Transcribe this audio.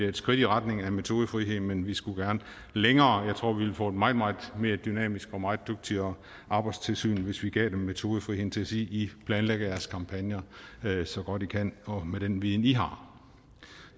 et skridt i retning af metodefrihed men vi skulle gerne længere jeg tror vi ville få et meget meget mere dynamisk og meget dygtigere arbejdstilsyn hvis vi gav dem metodefriheden til at sige i planlægger jeres kampagner så godt i kan og med den viden i har